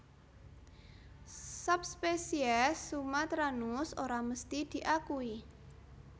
Subspesies sumatranus ora mesti diakui